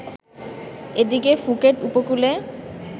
এদিকে ফুকেট উপকূলে